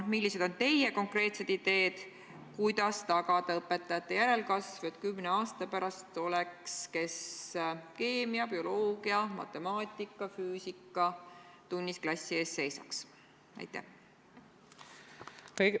Millised on teie konkreetsed ideed, kuidas tagada õpetajate järelkasv, et kümne aasta pärast oleks neid, kes keemia-, bioloogia-, matemaatika- ja füüsikatunnis klassi ees seisaks?